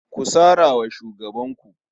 Ku sara wa shugabanku.